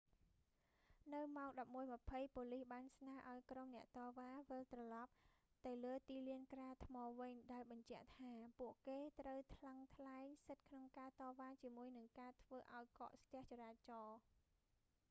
នៅម៉ោង 11:20 ប៉ូលីសបានស្នើឲ្យក្រុមអ្នកតវ៉ា វិលត្រឡប់ទៅលើទីលានក្រាលថ្មវិញ ដោយបញ្ជាក់ថា ពួកគេត្រូវថ្លឹងថ្លែងសិទ្ធិក្នុងការតវ៉ាជាមួយនឹងការធ្វើឲ្យកកស្ទះចរាចរណ៍